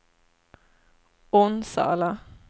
Onsala